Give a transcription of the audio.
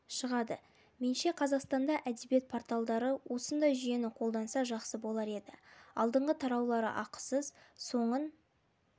шығады менше қазақстанда әдебиет порталдары осындай жүйені қолданса жақсы болар еді алдыңғы тараулары ақысыз соңын